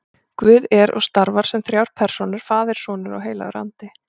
Guð er og starfar sem þrjár persónur, faðir og sonur og heilagur andi.